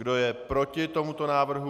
Kdo je proti tomuto návrhu?